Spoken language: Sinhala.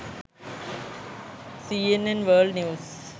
cnn world news